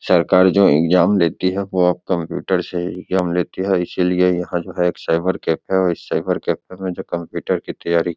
सरकार जो इग्जाम लेती हैं वो अब कंप्यूटर से इग्जाम लेती हैं इसलिए यहां जो है एक साइबर कैफे है और इस साइबर कैफे में कंप्यूटर की तैयारी --